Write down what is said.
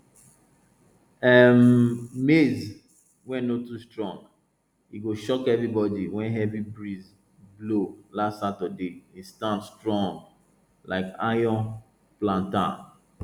um maize wey no too strong e shock everybody when heavy breeze blow last saturday e stand strong like iron plantam